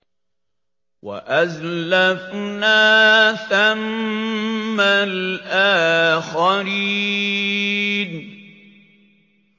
وَأَزْلَفْنَا ثَمَّ الْآخَرِينَ